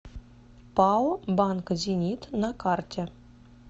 пао банк зенит на карте